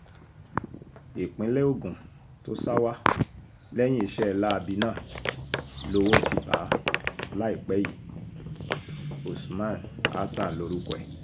ìpínlẹ̀ ogun tó sá wa lẹ́yìn iṣẹ́ láabi náà lowó ti bá a láìpẹ́ yìí usman hasan lorúkọ ẹ̀